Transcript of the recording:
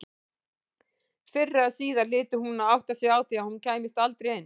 Fyrr eða síðar hlyti hún að átta sig á því að hún kæmist aldrei inn.